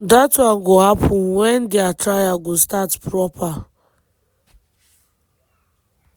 dat one go happen wen dia trial go start proper.